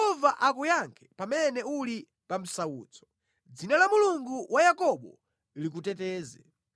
Yehova akuyankhe pamene uli pa msautso; dzina la Mulungu wa Yakobo likuteteze.